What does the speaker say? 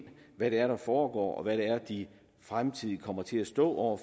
hvad det er der foregår og hvad det er de fremtidig kommer til at stå over